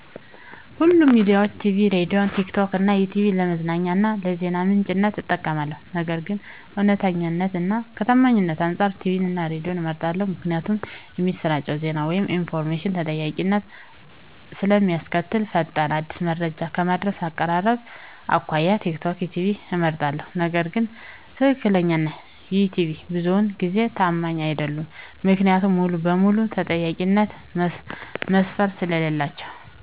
ሁሉንም ሚዲያዊች -ቲቪ፤ ሬድዬ፤ ቲክቶክ እና ይትዩብ ለመዝናኛ እና ለዜና ምንጭነት እጠቀማለሁ። ነገር ግን ከእውነተኛነት እና ከታማኝነት አንፃር ቲቪን እና ሬድዬን እመርጣለሁ ምክንያቱም እሚሰራጨው ዜና ወይም ኢንፎርሜሽን ተጠያቂነትን ስለእሚያስከትል። ፈጣን፤ አዲስ መረጃ ከማድረስ፤ ከአቀራረብ አኮያ ቲክቶክ፤ ዩትዩብ እመርጣለሁ። ነገር ግን ትክትክ እና ይትዩብ ብዙውን ጊዜ ታማኝ አይደሉም። ምክንያቱም ሙሉ በሙሉ የተጠያቂነት መስፈርት ስለሌላቸው።